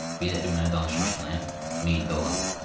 Bir dəfə mənə danışmışdın, ha, Meyində olan.